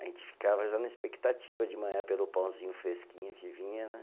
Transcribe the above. A gente ficava já na expectativa de manhã pelo pãozinho fresquinho que vinha, né?